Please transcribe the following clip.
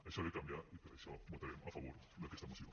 això ha de canviar i per això votarem a favor d’aquesta moció